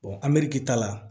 meriki ta la